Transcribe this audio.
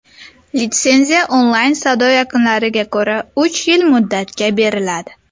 Litsenziya onlayn savdo yakunlariga ko‘ra uch yil muddatga beriladi.